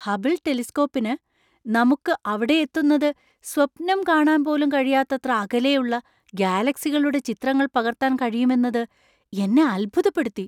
Hubble ടെലിസ്‌കോപ്പിന് നമുക്ക് അവിടെയെത്തുന്നത് സ്വപ്നം കാണാൻ പോലും കഴിയാത്തത്ര അകലെയുള്ള ഗാലക്‌സികളുടെ ചിത്രങ്ങൾ പകർത്താൻ കഴിയുമെന്നത് എന്നെ അത്ഭുതപ്പെടുത്തി!